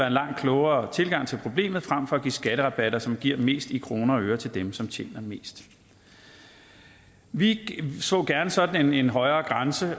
en langt klogere tilgang til problemet fremfor at give skatterabatter som giver mest i kroner og øre til dem som tjener mest vi så gerne sådan en højere grænse